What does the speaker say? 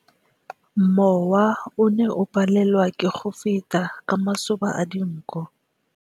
Mowa o ne o palelwa ke go feta ka masoba a dinko.